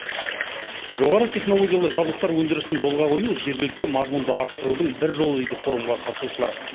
жоғары технологиялы жабдықтар өндірісін жолға қою жергілікті мазмұнды арттырудың бір жолы дейді форумға қатысушылар